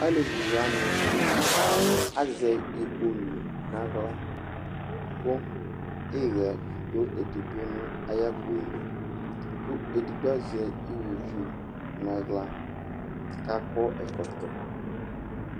alevi wʋani azɛ igbolʋ nu aɣla, ku iɣɛ du edigbo nu ayi akpo yɛ li, ku edigbo azɛ iwoviu nu aɣla, ku akɔ ɛkɔtɔ